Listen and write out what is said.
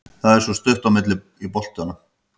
Það er svo stutt á milli í boltanum.